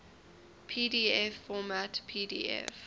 pdf format pdf